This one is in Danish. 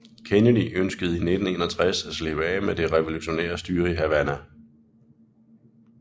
Kennedy ønskede i 1961 at slippe af med det revolutionære styre i Havana